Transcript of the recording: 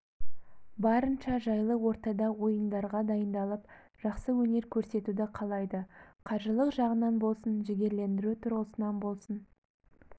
барынша жайлы ортада ойындарға дайындалып жақсы өнер көрсетуді қалайды қаржылық жағынан болсын жігерлендіру тұрғысынан болсын